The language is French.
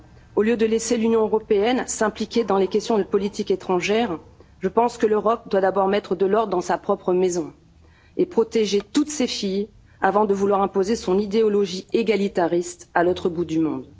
Au lieu de laisser l'Union européenne s'impliquer dans les questions de politique étrangère, je pense que l'Europe doit d'abord mettre de l'ordre dans sa propre maison et protéger toutes ses filles avant de vouloir imposer son idéologie égalitariste à l'autre bout du monde.